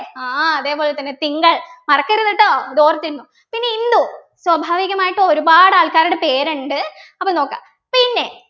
ആഹ് അതേപോലെതന്നെ തിങ്കൾ മറക്കരുത് ട്ടോ ഇതോർത്തിരുന്നൊ പിന്നെ ഇന്ദു സ്വാഭാവികമായിട്ടു ഒരുപാട് ആൾക്കാരുടെ പേരിണ്ട് അപ്പൊ നോക്കാ പിന്നെ